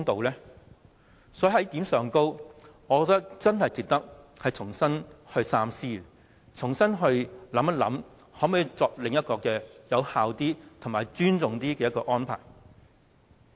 就此一點，我認為很值得你三思，重新考慮可否另作一個更有效、更尊重議會的安排。